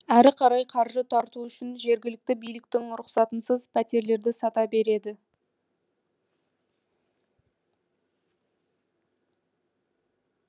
әрі қарай қаржы тарту үшін жергілікті биліктің рұқсатынсыз пәтерлерді сата береді